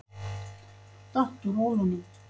Datt úr rólunum.